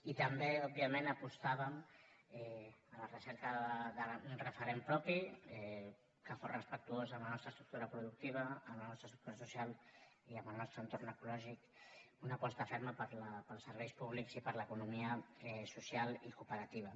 i també òbviament apostàvem per la recerca d’un referent propi que fos respectuós amb la nostra estructura productiva amb la nostra estructura social i amb el nostre entorn ecològic una aposta ferma pels serveis públics i per l’economia social i cooperativa